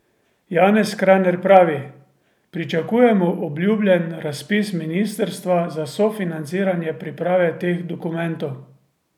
Janez Kraner pravi: "Pričakujemo obljubljen razpis ministrstva za sofinanciranje priprave teh dokumentov.